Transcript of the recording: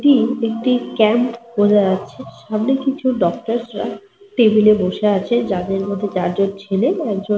পেছন দিকে একটা দরজা বোঝা যাচ্ছে। সামনে দেওয়ালে বেশ কিছু সচেতনতা মূলক পোস্টার লাগানো রয়েছে। টেবিল -এর ওপর সবুজ কাপড় --